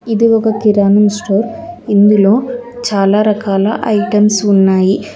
ఇది ఒక కిరాణం స్టోర్ ఇందులో చాలా రకాల ఐటమ్స్ ఉన్నాయి.